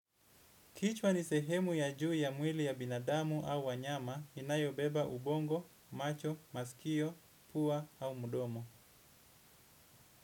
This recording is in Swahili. Kichwa ni sehemu ya juu ya mwili ya binadamu au wanyama inayo beba ubongo macho maskio pua au mdomo.